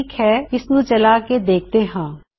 ਠੀਕ ਹੈ ਇਸਨੂੰ ਚਲਾ ਕੇ ਦੇਖਦੇ ਹਾਂ